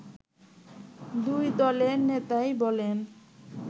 দুই দলের নেতাই বলেন